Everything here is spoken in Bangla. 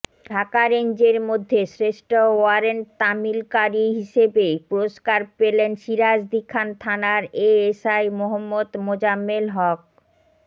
ঢাকা রেঞ্জের মধ্যে শ্রেষ্ঠ ওয়ারেন্ট তামিলকারী হিসাবে পুরস্কার পেলেন সিরাজদিখান থানার এএসআই মোঃ মোজাম্মেল হক